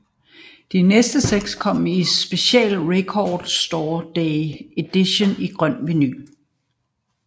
De næste 60 kom i special Record Store Day edition i grøn vinyl